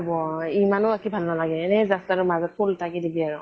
হব ইমানো আঁকি ভাল নালাগে, এনেই just আৰু মাজত ফুল এটা আঁকি দিবি আৰু।